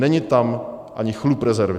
Není tam ani chlup rezervy!